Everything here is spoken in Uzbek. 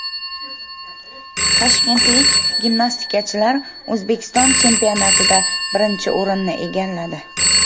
Toshkentlik gimnastikachilar O‘zbekiston chempionatida birinchi o‘rinni egalladi.